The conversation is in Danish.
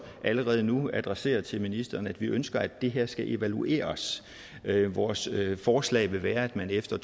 allerede nu adressere til ministeren at vi ønsker at det her skal evalueres vores forslag vil være at man efter